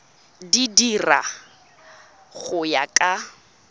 di dira go ya ka